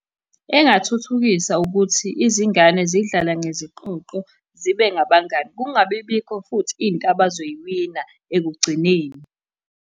Engathuthukisa ukuthi izingane zidlale ngeziqoqo zibe ngabangani. Kungabi bikho futhi into abazoyiwina ekugcineni.